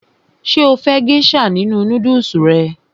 Ṣé o fẹ́ gésà nínu nódùsù rẹ?